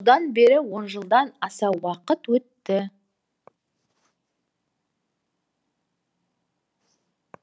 одан бері он жылдан аса уақыт өтті